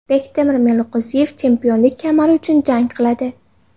Bektemir Meliqo‘ziyev chempionlik kamari uchun jang qiladi.